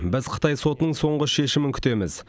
біз қытай сотының соңғы шешімін күтеміз